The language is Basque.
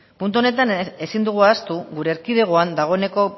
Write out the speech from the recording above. puntu honetan ezin dugu ahaztu gure erkidegoan dagoeneko